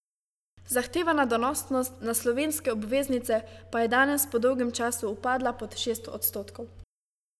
Zahtevana donosnost na slovenske obveznice pa je danes po dolgem času upadla pod šest odstotkov.